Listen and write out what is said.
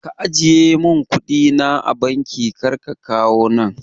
Ka ajiye mun kuɗi na a banki kar ka kawo nan